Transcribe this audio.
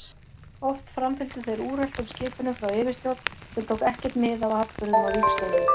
Oft framfylgdu þeir úreltum skipunum frá yfirstjórn sem tók ekkert mið af atburðum á vígstöðvunum.